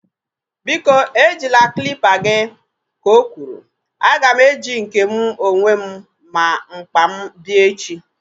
Biko ejila klịpa gị! Ka o kwuru. A ga m eji nke mụ onwe m na mkpa m bịa echi